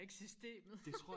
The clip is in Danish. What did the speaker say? og ikke systemet